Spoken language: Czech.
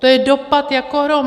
To je dopad jako hrom.